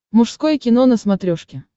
мужское кино на смотрешке